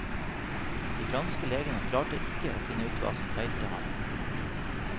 De franske legene klarte ikke å finne ut hva som feilte ham.